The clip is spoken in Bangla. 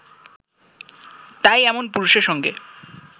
তাই এমন পুরুষের সঙ্গে